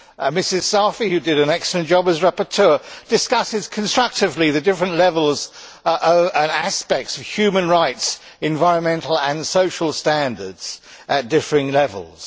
Mrs Saïfi, who did an excellent job as rapporteur, discusses constructively the different levels and aspects of human rights, and environmental and social standards at differing levels.